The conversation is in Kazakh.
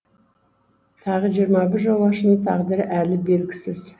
тағы жиырма бір жолаушының тағдыры әлі белгісіз